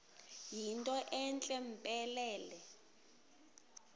yinto entle mpelele